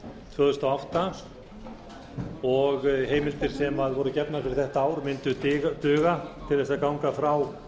tvö þúsund og átta og heimildir sem voru gefnar fyrir þetta ár mundu duga til að ganga frá